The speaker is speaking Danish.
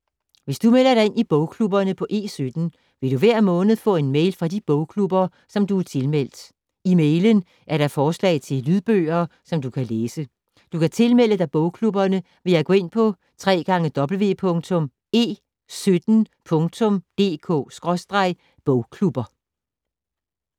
Hvis du melder dig ind i bogklubberne på E17, vil du hver måned få en mail fra de bogklubber, som du er tilmeldt. I mailen er der forslag til lydbøger, som du kan læse. Du kan tilmelde dig bogklubberne ved at gå ind på www.e17.dk/bogklubber